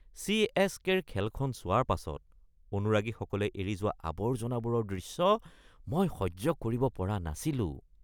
চি.এছ.কে.ৰ খেলখন চোৱাৰ পাছত অনুৰাগীসকলে এৰি যোৱা আৱৰ্জনাবোৰৰ দৃশ্য মই সহ্য কৰিব পৰা নাছিলোঁ।